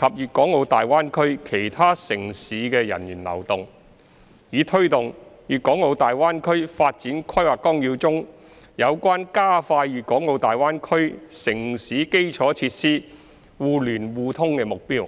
粵港澳大灣區其他城市的人員流動，以推動《粵港澳大灣區發展規劃綱要》中有關加快粵港澳大灣區城市基礎設施互聯互通的目標。